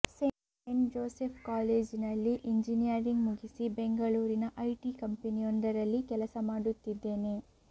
scent Joseph ಕಾಲೇಜಿನಲ್ಲಿ engineering ಮುಗಿಸಿ ಬೆಂಗಳೂರಿನ ಐಟಿ ಕಂಪೆನಿಯೊಂದರಲ್ಲಿ ಕೆಲಸ ಮಾಡುತ್ತಿದ್ದೇನೆ